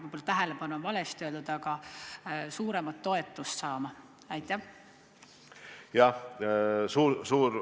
Võib-olla "tähelepanu" on küll vale sõna – suuremat toetust saama?